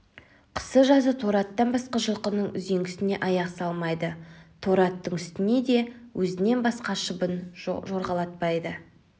қысы-жазы торы аттан басқа жылқының үзеңгісіне аяқ салмайды торы аттың үстіне де өзінен басқа шыбын жорғалатпайды